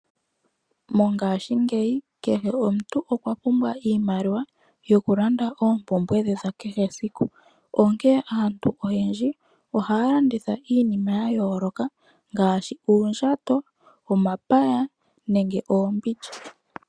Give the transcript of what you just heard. Mongaashingeyi kehe omuntu okwa pumbwa iimaliwa yokulanda oompumbwe dhe dha kehe esiku, onkene aantu oyendji ohaya landitha iinima ya yooloka ngaashi uundjato, omapaya nenge oombindja.